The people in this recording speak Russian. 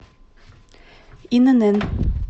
инн